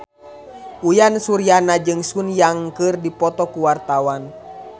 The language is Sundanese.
Uyan Suryana jeung Sun Yang keur dipoto ku wartawan